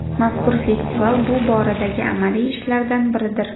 Mazkur festival bu boradagi amaliy ishlardan biridir.